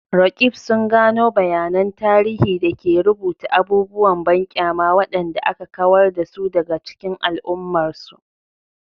Roqeeb sun gano bayanan tarihi da ke rubuta abubuwan banƙyama waɗanda aka kawar da su daga cikin al'ummarsu.